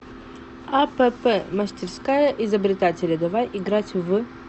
апп мастерская изобретателя давай играть в